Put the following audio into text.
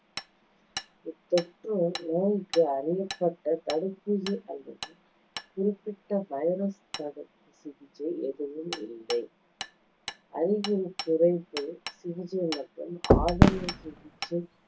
இத்தொற்றுநோய்~ நோய்க்கு அறியப்பட்ட தடுப்பூசி அல்லது குறிப்பிட்ட வைரஸ் தடுப்பு சிகிச்சை எதுவும் இல்லை. அறிகுறி குறைப்பு சிகிச்சை மற்றும் ஆதரவு சிகிச்சை